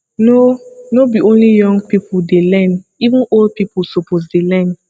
no no be only young pipo dey learn even old pipo suppose dey learn